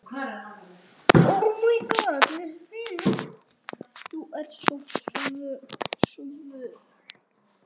Þú ert svo föl.